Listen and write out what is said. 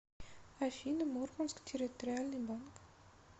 афина мурманск территориальный банк